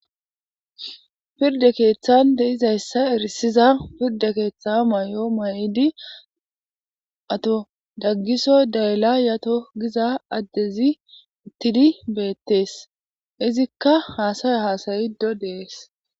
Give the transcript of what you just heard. pirde keeththan de'izayssa erisiza pirde keeththa may7o mayidi ato daggiso dayla yato giza addezi ittidi beettees izikka haasaya haasayido dees